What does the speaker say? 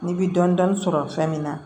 N'i bi dɔni dɔni sɔrɔ fɛn min na